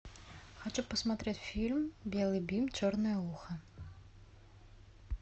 хочу посмотреть фильм белый бим черное ухо